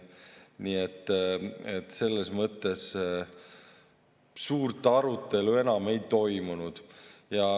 Nii et selles mõttes suurt arutelu enam ei toimunud.